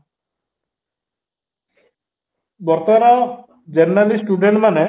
ବର୍ତ୍ତମାନ generally student ମାନେ